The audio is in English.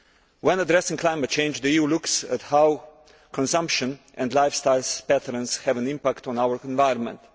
When addressing climate change, the EU looks at how consumption and lifestyle patterns have an impact on our environment.